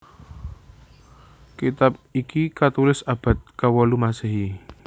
Kitab iki katulis abad kewolu Masehi